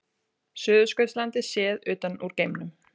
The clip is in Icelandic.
Suðurskautslandið séð utan úr geimnum.